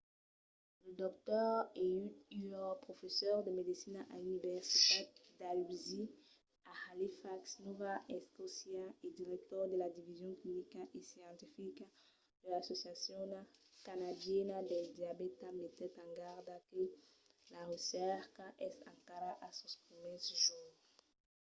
lo dr. ehud ur professor de medecina a l'universitat dalhousie a halifax nòva escòcia e director de la division clinica e scientifica de l'associacion canadiana del diabèta metèt en garda que la recerca es encara a sos primièrs jorns